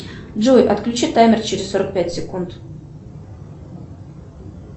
джой отключи таймер через сорок пять секунд